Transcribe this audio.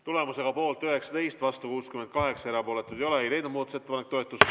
Tulemusega poolt 19, vastu 68, erapooletuid ei ole ei leidnud muudatusettepanek toetust.